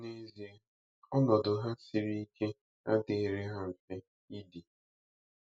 N’ezie, ọnọdụ ha siri ike adịghịrị ha mfe idi.